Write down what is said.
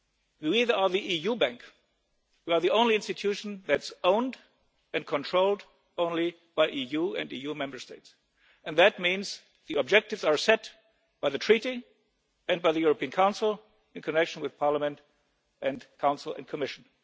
We are the EU bank, we are the only institution that's owned and controlled only by the EU and the EU Member States, and that means the objectives are set by the Treaty and by the European Council in connection with Parliament and the Council and the Commission.